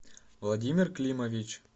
владимир климович